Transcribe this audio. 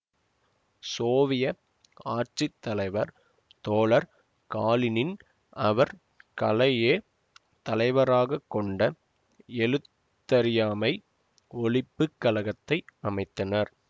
Soviet ஆட்சி தலைவர் தோழர் காலினின் அவர் களையே தலைவராகக் கொண்ட எழுத்தறியாமை ஒழிப்புக் கழகத்தை அமைத்தனர்